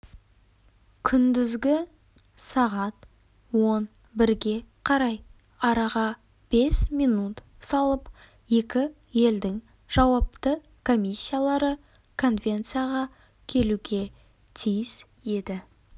күндізгі сағат он бірге қарай араға бес минут салып екі елдің жауапты комиссиялары конвенцияға келуге тиіс еді